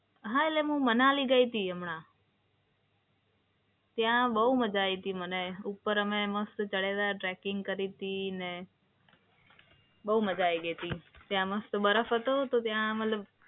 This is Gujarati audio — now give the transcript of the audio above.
હા, એટલે હું મનાલી ગઈ હતી હમણાં. ત્યાં બવ મજા આઈ હતી મને. ઉપર અમે મસ્ત ચડેલા ટ્રેકિંગ કરી હતી અને બવ મજા આઈ ગઈ હતી. ત્યાં મસ્ત બરફ હતો તો ત્યાં મતલબ